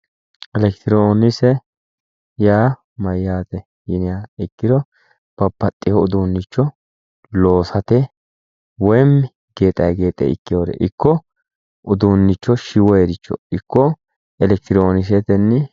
Elekitironkise yaa mayate yiniha ikkiro babbaxino uduunicho loosate woyi gexa gexe ikkinore ikko uduunicho shiwoniricho ikko elekitironkisete.